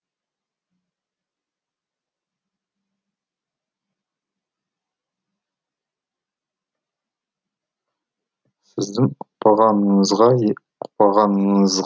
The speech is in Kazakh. сіздің ұқпағаныңызға ұқпағаныңыз